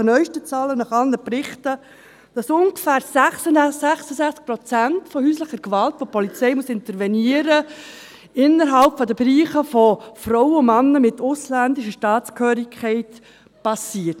Gemäss neuesten Zahlen und aufgrund von allen Berichten wissen wir heute, dass ungefähr 66 Prozent der häuslichen Gewalt, bei der die Polizei intervenieren muss, innerhalb der Bereiche von Frauen und Männern mit ausländischer Staatsangehörigkeit passiert.